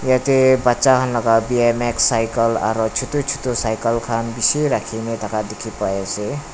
yatae bacha khan laka b m x cycle aro chutu chutu cycle khan bishi rakhina thaka dikhipaiase.